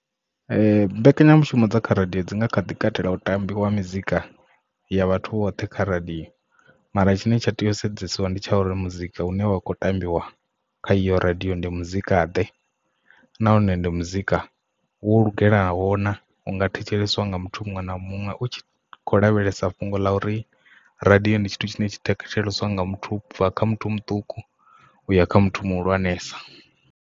Mbekanyamushumo dza kha radio dzi nga kha ḓi katela u tambiwa mizika ya vhathu vhoṱhe kha radio mara tshine tsha tea u sedzesiwa ndi tsha uri muzika hune wa kho tambiwa kha iyo radio ndi muzika ḓe nahone ndi muzika wo lugelaho na unga thetsheleswa nga muthu muṅwe na muṅwe u kho lavhelesa fhungo ḽa uri radio ndi tshithu tshine tshi thetsheleswa nga muthu ubva kha muthu muṱuku uya kha muthu muhulwanesa.